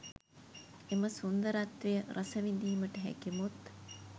එම සුන්දරත්වය රසවිඳීමට හැකි මුත්